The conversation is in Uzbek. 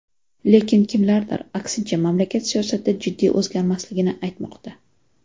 Lekin kimlardir, aksincha, mamlakat siyosati jiddiy o‘zgarmasligini aytmoqda.